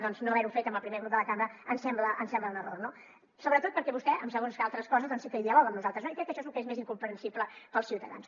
doncs no haver ho fet amb el primer grup de la cambra ens sembla un error sobretot perquè vostè per a segons quines altres coses sí que hi dialoga amb nosaltres no i crec que això és lo que és més incomprensible per als ciutadans